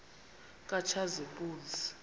katshazimpuzi